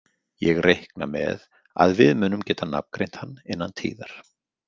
Ég reikna með að við munum geta nafngreint hann innan tíðar.